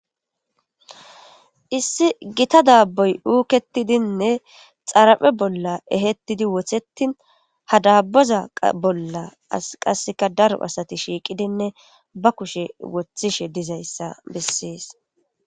Issi gita daaboy uuketidinne xaraphe bolla ehettidi wothetin hadaboza bolla as qasseka daro asati shiiqidinne ba kushe wothishe dizayssa bessees.